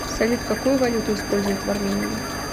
салют какую валюту используют в армении